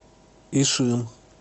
ишим